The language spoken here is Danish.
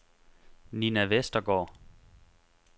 Nina Vestergaard